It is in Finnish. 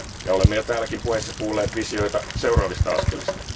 Olemme jo täällä puheissa kuulleet visioita seuraavista askelista.